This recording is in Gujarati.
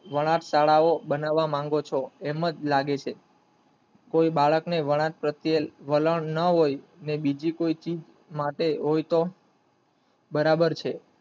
વણાટ શાળા વો બનાવ માંગો છો એમ જ લાગે છે કોઈ બાળક ને વણાટ પ્રત્યે વલણ ન હોય તો ને બીજી કોઈ ચીજ માટે હોય તો બરાબર છે.